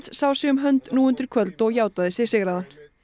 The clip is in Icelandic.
sá sig um hönd nú undir kvöld og játaði sig sigraðan